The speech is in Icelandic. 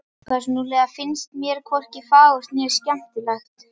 Persónulega finnst mér hvorki fagurt né skemmtilegt.